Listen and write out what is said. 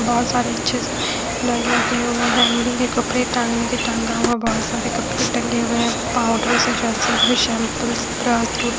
बहोत सारे अच्छे से मैट लगे हुए हैं हैंगिंग के कपड़े टांगने के टंगा हुआ बहोत सारे कपड़े टंगे हुए है पाउडर से जॉनसन बेबी शैंपू ब्राटूट--